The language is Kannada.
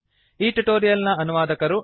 ಈ ಟ್ಯುಟೋರಿಯಲ್ ನ ಅನುವಾದಕರು ಡಾ